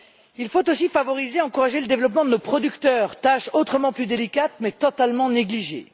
Il faut aussi favoriser et encourager le développement de nos producteurs, tâche autrement plus délicate mais totalement négligée.